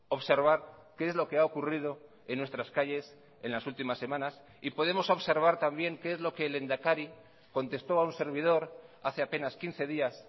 observar qué es lo que ha ocurrido en nuestras calles en las últimas semanas y podemos observar también qué es lo que el lehendakari contestó a un servidor hace apenas quince días